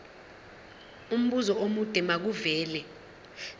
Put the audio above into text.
umbuzo omude makuvele